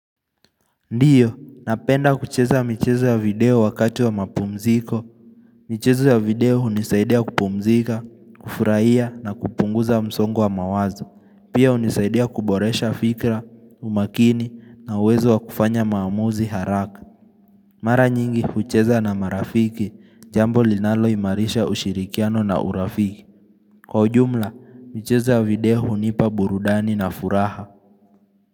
Ndiyo, napenda kucheza michezo ya video wakati wa mapumziko michezo ya video hunisaidia kupumzika, kufurahia na kupunguza msongo wa mawazo. Pia hunisaidia kuboresha fikra, umakini na uwezo wa kufanya maamuzi haraka Mara nyingi, hucheza na marafiki, jambo linaloimarisha ushirikiano na urafiki. Kwa ujumla, michezo ya video hunipa burudani na furaha.